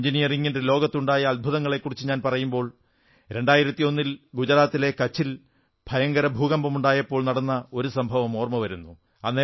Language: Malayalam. എഞ്ചിനീയറിംഗിന്റെ ലോകത്ത് ഉണ്ടായ അത്ഭുതങ്ങളെക്കുറിച്ചു ഞാൻ പറയുമ്പോൾ 2001 ൽ ഗുജറാത്തിലെ കച്ചിൽ ഭീകര ഭൂകമ്പമുണ്ടായപ്പോൾ നടന്ന ഒരു സംഭവം ഓർമ്മ വരുന്നു